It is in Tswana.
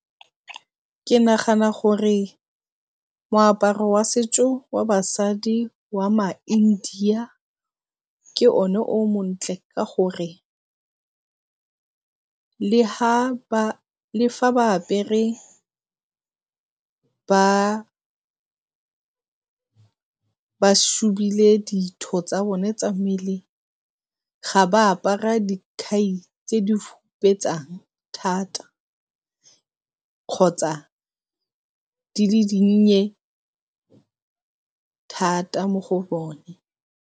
Ke nagana gore moaparo wa setso wa basadi wa maIndia ke o ne o montle ka gore le fa ba apere ba tsa bone tsa mmele ga ba a para dikhai tse di fupetsang thata kgotsa di le dinnye thata mo go bone.